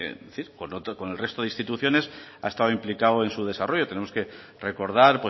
con el resto de instituciones ha estado implicado en su desarrollo tenemos que recordar